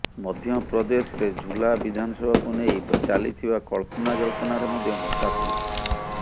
ମଧ୍ୟପ୍ରଦେଶରେ ଝୁଲା ବିଧାନସଭାକୁ ନେଇ ଚାଲିଥିବା କଳ୍ପନା ଜଳ୍ପନାରେ ମଧ୍ୟ ଭଟ୍ଟା ପଡିଛି